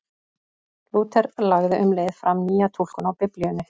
Lúther lagði um leið fram nýja túlkun á Biblíunni.